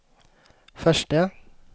förste